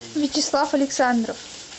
вячеслав александров